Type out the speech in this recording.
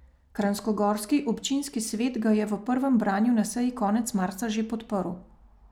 Kranjskogorski občinski svet ga je v prvem branju na seji konec marca že podprl.